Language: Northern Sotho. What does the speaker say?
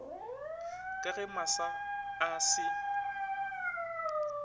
ka ge masa a se